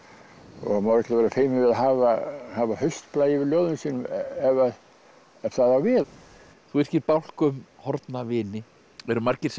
og maður á ekki að vera feiminn við að hafa hafa haustblæ yfir ljóðum sínum ef það á við þú yrkir bálk um horfna vini eru margir sem